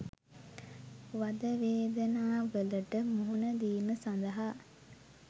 වද වේදනාවලට මුහුණ දීම සඳහා